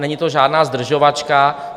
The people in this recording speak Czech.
Není to žádná zdržovačka.